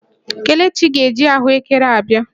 Kelechi ga-eji ahụ ekere a bịa